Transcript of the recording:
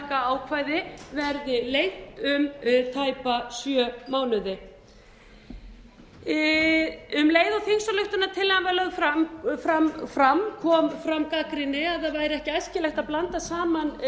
verði lengt um tæpa sjö mánuði um leið og þingsályktunartillagan var lögð fram kom fram sú gagnrýni að það væri ekki æskilegt að blanda saman